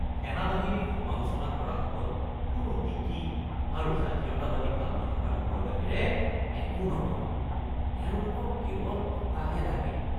সেনাবাহিনীক সমালোচনা কৰাসকল কোনো নীতি আৰু জাতীয়তাবাদী ভাৱ নথকা লোকৰ বাহিৰে একো নহয়। তেওঁলোকক কেৱল টকাহে লাগে